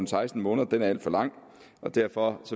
seksten måneder er alt for lang derfor